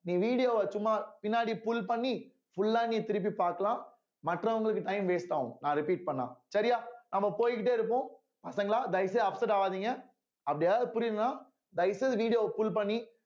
நீ video வ சும்மா பின்னாடி pull பண்ணி full ஆ நீ திருப்பி பார்க்கலாம் மற்றவங்களுக்கு time waste ஆகும் நான் repeat பண்ணா சரியா நம்ம போய்க்கிட்டே இருப்போம் பசங்களா தயவு செய்து upset ஆவாதீங்க அப்படி ஏதாவது புரியும்னா தயவு செய்து video வ pull பண்ணி